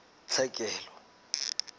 tlhekelo